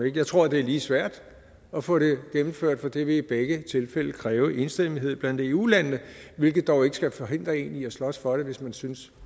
ikke jeg tror det er lige svært at få det gennemført for det vil i begge tilfælde kræve enstemmighed blandt eu landene hvilket dog ikke skal forhindre en i at slås for det hvis man synes